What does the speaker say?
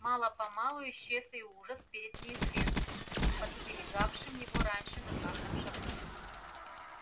мало помалу исчез и ужас перед неизвестным подстерегавшим его раньше на каждом шагу